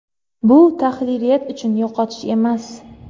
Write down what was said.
Bu tahririyat uchun yo‘qotish emas.